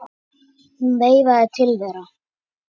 Hún veifaði til þeirra.